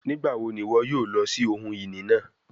Nigbawo ni iwọ yoo lọ si ohun-ini naa?